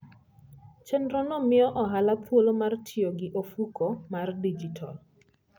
Chenrono miyo ohala thuolo mar tiyo gi ofuko mar digital.